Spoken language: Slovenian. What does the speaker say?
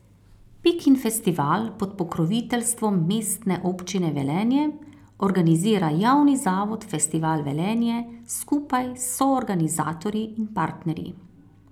Pikin festival pod pokroviteljstvom Mestne občine Velenje organizira javni zavod Festival Velenje skupaj s soorganizatorji in partnerji.